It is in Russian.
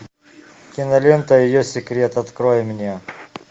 кинолента ее секрет открой мне